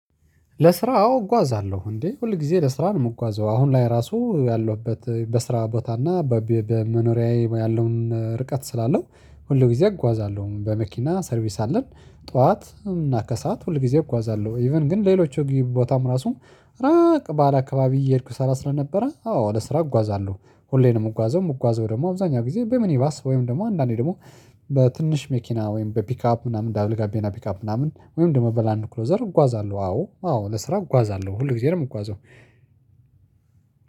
ለስራ አዎ እጓዛለሁ እንዴ ሁል ጊዜ ለስራ ነው የምጓዘው። አሁን ላይ ራሱ ያለሁበት በስራ ቦታ እና በመኖሪያዬ ያለውን ርቀት ስላለው ሁሉ ጊዜ አጓዛለሁ በመኪና ሰርቪስ አለን። ጠዋት እና ከሰአት ሁል ጊዜ እጓዛለሁ ኢቭን ግን ሌሎቹ ቦታም ራሱም። ባለ አካባቢ እየሄድኩ ስራ ስለነበረ አዎ ለስራ እጓዛለሁ ሁሌም ነው የምጓዘው የምጓዘው። ደግሞ አብዛኛው ጊዜ በሚኒባስ ወይም ደግሞ አንዳንዴ ደግሞ በትንሽ መኪና ወይም በፒካፕ ምናምን ደብል ጋቢና ፒካፕ ምናምን ወይም ደግሞ በላንድ ክሎዘር እጓዛለሁ። አዎ አዎ ለስራ እጓዛለሁ ሁል ጊዜ ነው የምጓዘው።